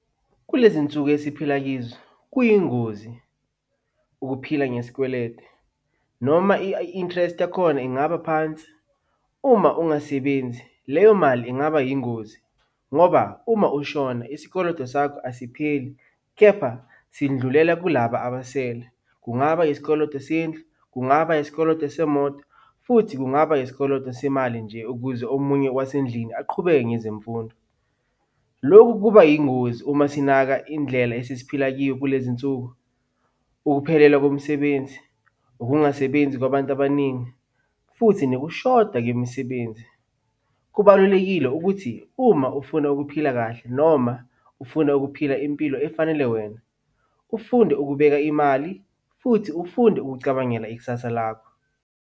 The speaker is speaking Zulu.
Kulezi nsuku esiphila kizo, kuyingozi ukuphila ngesikweletu noma i-interest yakhona ingaba phansi, uma ungasebenzi leyo mali ingaba yingozi ngoba uma ushona isikoloto sakho asipheli, kepha sindlulela kulaba abasele. Kungaba yisikoloto sendlu, kungaba yisikoloto semoto, futhi kungaba yisikoloto semali nje ukuze omunye wasendlini aqhubeke ngezemfundo. Lokhu kuba yingozi uma sinaka indlela esesiphila kiyo kulezi nsuku. Ukuphelelwa komsebenzi, ukungasebenzi kwabantu abaningi futhi nokushoda kwemisebenzi. Kubalulekile ukuthi uma ufuna ukuphila kahle noma ufuna ukuphila impilo efanele wena, ufunde ukubeka imali futhi ufunde ukucabangela ikusasa lakho.